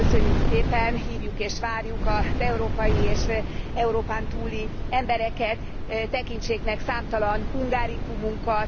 Ezt köszönjük szépen, hívjuk és várjuk az európai és Európán túli embereket, tekintsék meg számtalan hungaricumunkat.